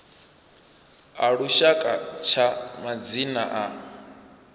a lushaka tsha madzina a